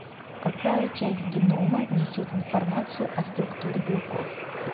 какая часть генома несет информацию о структуре белков